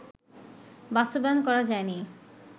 বাস্তবায়ন করা যায়নি